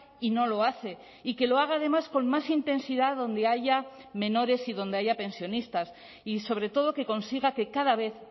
y no lo hace y que lo haga además con más intensidad donde haya menores y donde haya pensionistas y sobre todo que consiga que cada vez